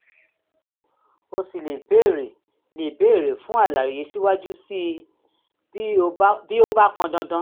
o sì lè béèrè lè béèrè fún àlàyé síwájú sí i bí ó bá pọn dandan